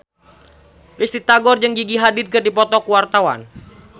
Risty Tagor jeung Gigi Hadid keur dipoto ku wartawan